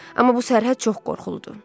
Amma bu sərhəd çox qorxuludur.